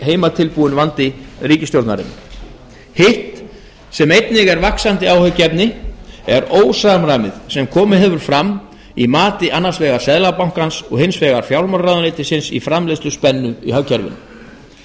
heimatilbúinn vandi ríkisstjórnarinnar hitt sem einnig er vaxandi áhyggjuefni er ósamræmið sem nú er að koma fram í mati annars vegar seðlabankans og hins vegar fjármálaráðuneytisins á framleiðsluspennu í hagkerfinu en